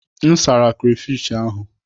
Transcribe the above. M sara krafish ahụ.